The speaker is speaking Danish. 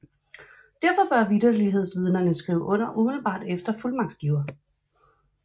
Derfor bør vitterlighedsvidnerne skrive under umiddelbart efter fuldmagtsgiver